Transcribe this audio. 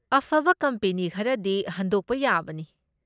ꯑꯐꯕ ꯀꯝꯄꯦꯅꯤ ꯈꯔꯗꯤ ꯍꯟꯗꯣꯛꯄ ꯌꯥꯕꯅꯤ꯫